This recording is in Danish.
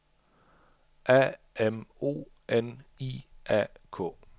A M O N I A K